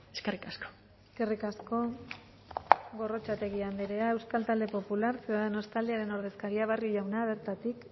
eskerrik asko eskerrik asko gorrotxategi andrea euskal talde popular ciudadanos taldearen ordezkaria barrio jauna bertatik